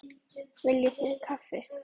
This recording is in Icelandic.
Viljið þið kaffi?